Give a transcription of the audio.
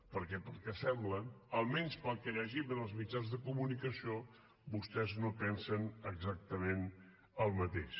perquè pel que sembla almenys pel que llegim en els mitjans de comunicació vostès no pensen exactament el mateix